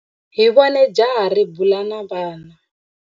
Hi vone jaha ri bula na vana.